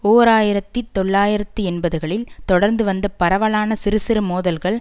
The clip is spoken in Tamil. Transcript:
ஓர் ஆயிரத்தி தொள்ளாயிரத்தி எண்பதுகளில் தொடர்ந்து வந்த பரவலான சிறுசிறு மோதல்கள்